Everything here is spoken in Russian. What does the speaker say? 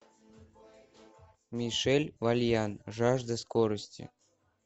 мишель вальян жажда скорости